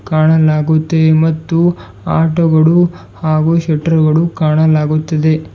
ಕಾಣಲಾಗುತ್ತೆ ಮತ್ತು ಆಟೋ ಗಳು ಹಾಗು ಶಟ್ರು ಗಳು ಕಾಣಲಾಗುತ್ತಿದೆ.